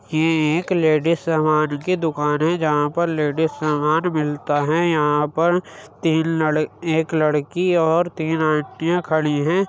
ये एक लेडिस सामान की दुकान हैं जहाँ पर लेडिस सामान मिलता हैं। यहां पर तीन लड़ एक लड़की और तीन आंटियां खड़ी हैं।